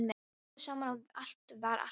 Þau töluðu saman og allt var alltaf í lagi.